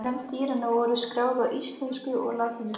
Nöfn dýranna voru skráð á íslensku og latínu.